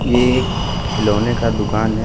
ये एक खिलौने का दुकान है।